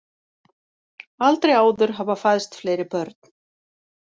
Aldrei áður hafa fæðst fleiri börn